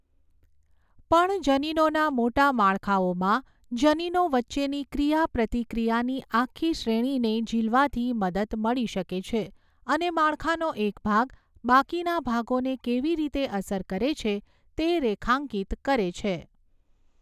પણ જનીનોના મોટા માળખાઓમાં, જનીનો વચ્ચેની ક્રિયાપ્રતિક્રિયાની આખી શ્રેણીને ઝિલવાથી મદદ મળી શકે છે અને માળખાનો એક ભાગ બાકીના ભાગોને કેવી રીતે અસર કરે છે તે રેખાંકિત કરે છે.